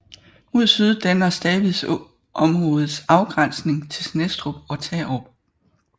Mod syd danner Stavids Å områdets afgrænsning til Snestrup og Tarup